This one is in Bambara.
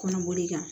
Kɔnɔboli kan